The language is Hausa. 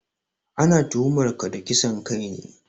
Ana tuhumar ka da kisan kai ne